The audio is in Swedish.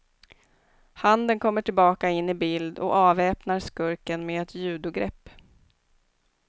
Handen kommer tillbaka in i bild och avväpnar skurken med ett judogrepp.